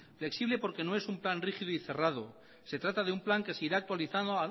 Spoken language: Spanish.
flexible porque no es un plan rígido y cerrado se trata de un plan que se irá actualizando